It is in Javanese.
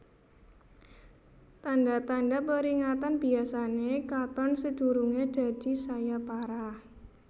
Tanda tanda peringatan biyasane katon sedurunge dadi saya parah